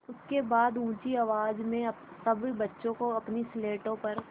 उसके बाद ऊँची आवाज़ में सब बच्चों को अपनी स्लेटों पर